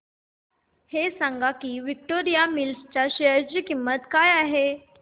हे सांगा की विक्टोरिया मिल्स च्या शेअर ची किंमत काय आहे